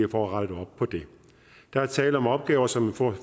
rettet op på det der er tale om opgaver som for